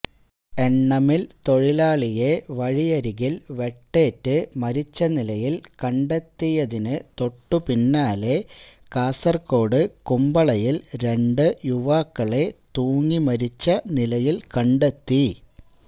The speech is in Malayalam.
എണ്ണ മിൽ തൊഴിലാളിയെ വഴിയരികിൽ വെട്ടേറ്റ് മരിച്ചനിലയിൽ കണ്ടെത്തിയതിനു തൊട്ടുപിന്നാലെ കാസര്കോട് കുമ്പളയില് രണ്ട് യുവാക്കളെ തൂങ്ങിമരിച്ച നിലയില് കണ്ടെത്തി